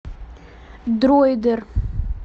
дроидер